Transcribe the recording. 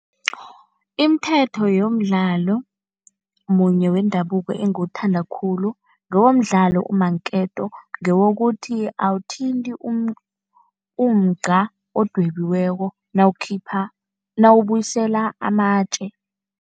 Imithetho yomdlalo munye wendabuko engiwuthanda khulu, ngowomdlalo umanketo. Ngewokuthi awuthinti umugqa odwebiweko nawukhipha nawubuyisela amatje.